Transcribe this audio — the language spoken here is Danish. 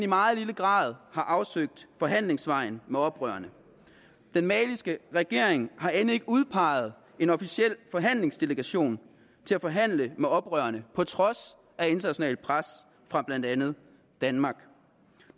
meget lille grad har afsøgt forhandlingsvejen med oprørerne den maliske regering har end ikke udpeget en officiel forhandlingsdelegation til at forhandle med oprørerne på trods af internationalt pres fra blandt andet danmark